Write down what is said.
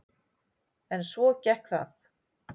En svo gekk það.